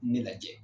Ne lajɛ